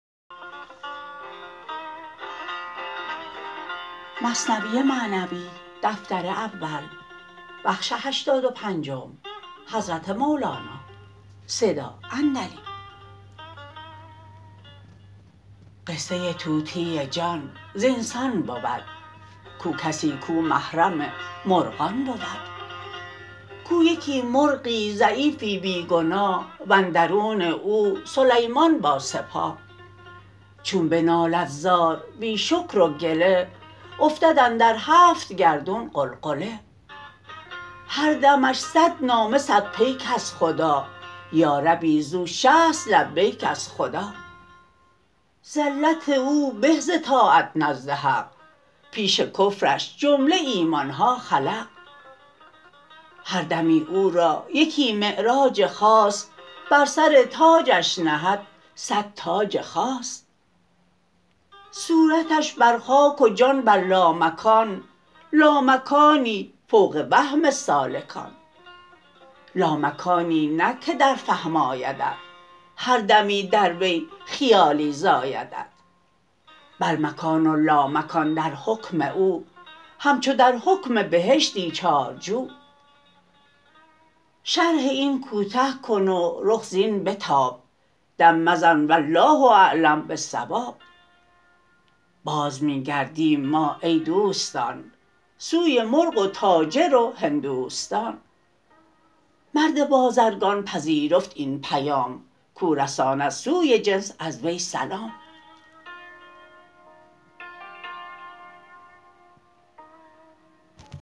قصه طوطی جان زین سان بود کو کسی کو محرم مرغان بود کو یکی مرغی ضعیفی بی گناه و اندرون او سلیمان با سپاه چون به نالد زار بی شکر و گله افتد اندر هفت گردون غلغله هر دمش صد نامه صد پیک از خدا یا ربی زو شصت لبیک از خدا زلت او به ز طاعت نزد حق پیش کفرش جمله ایمانها خلق هر دمی او را یکی معراج خاص بر سر تاجش نهد صد تاج خاص صورتش بر خاک و جان بر لامکان لامکانی فوق وهم سالکان لامکانی نه که در فهم آیدت هر دمی در وی خیالی زایدت بل مکان و لامکان در حکم او همچو در حکم بهشتی چار جو شرح این کوته کن و رخ زین بتاب دم مزن والله اعلم بالصواب باز می گردیم ما ای دوستان سوی مرغ و تاجر و هندوستان مرد بازرگان پذیرفت این پیام کو رساند سوی جنس از وی سلام